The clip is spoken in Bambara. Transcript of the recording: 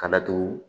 Ka datugu